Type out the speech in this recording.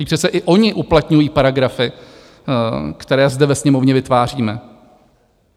Vždyť přece i oni uplatňují paragrafy, které zde ve Sněmovně vytváříme.